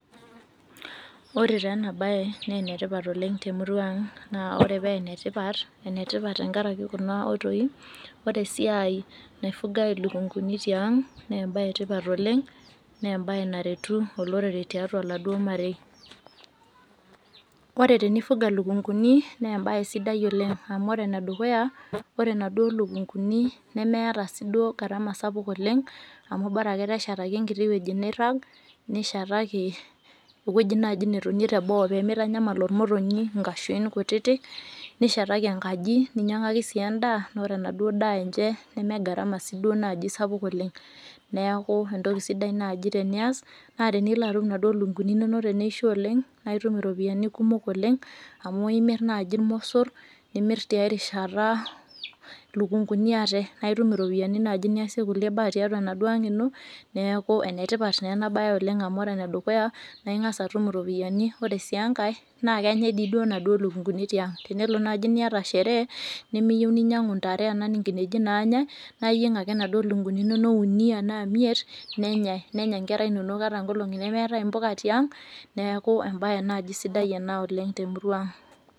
Ore taaena enabaye neenetipat oleng' temuruang' naa ore peenetipat, enetipat tengaraki kunaoitoi: ore esiai naifugai ilukunguni tiaang' neembaye etipat oleng' neembaye naretu olorere tiatua laduo marei. Ore tenifuga lukunguni neembaye sidai oleng' amu ore enedukuya ore naduo lukunguni nemeata sii duo garama sapuk oleng' amu borake teneshetaki enkiti wueji neirrag, nishetaki ewueji naji netonie teboo peemeitanyamal olmotonyi nkaashuin kutiti, nishetaki engaki ninyang'aki sii endaa noore naduo daa enche nemegarama siiduo naji sapuk oleng'. Neaku entoki sidai naji tenias naa teniloatum naduo lukunguni inonok teneisho oleng' naaitum iropiani kumok oleng' amu imirr naji ilmossor nimirr tiai rishata lukunguni ate naaitum iropiani naji niasie kulie baa tiatua enaduo ang' ino. Neaku enetipat neenabaye oleng' amu ore enedukuya naing'as atum iropiyani, ore sii engai naakenyai dii duo naduo lukunguni tiang'. Tenelo naji niata sheree nimiyou ninyang'u intare naa nkineji naanyai naayieng' ake naduo lukunguni inonok unii anaa imiet nenyai, nenya nkera inonok ata nkolong'i nemeetai impoka tiang' neaku embaye naji sidai ena oleng' temuruang'.